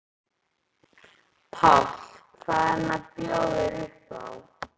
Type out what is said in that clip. Páll: Hvað er hann að bjóða þér upp á?